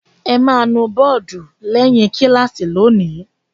Ẹ máa nu bọ́ọ́dù lẹ́yìn kíláàsì lónìí!